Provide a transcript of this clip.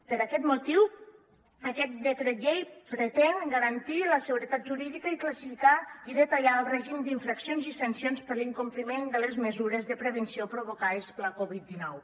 per aquest motiu aquest decret llei pretén garantir la seguretat jurídica i classificar i detallar el règim d’infraccions i sancions per l’incompliment de les mesures de prevenció provocades per la covid dinou